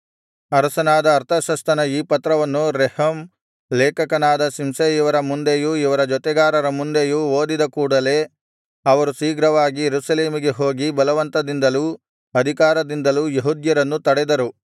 ಅರಸನಾದ ಅರ್ತಷಸ್ತನ ಈ ಪತ್ರವನ್ನು ರೆಹೂಮ್ ಲೇಖಕನಾದ ಶಿಂಷೈ ಇವರ ಮುಂದೆಯೂ ಇವರ ಜೊತೆಗಾರರ ಮುಂದೆಯೂ ಓದಿದ ಕೂಡಲೆ ಅವರು ಶೀಘ್ರವಾಗಿ ಯೆರೂಸಲೇಮಿಗೆ ಹೋಗಿ ಬಲವಂತದಿಂದಲೂ ಅಧಿಕಾರದಿಂದಲೂ ಯೆಹೂದ್ಯರನ್ನು ತಡೆದರು